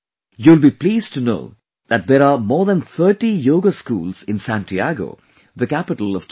You will be pleased to know that there are more than 30 Yoga schools in Santiago, the capital of Chile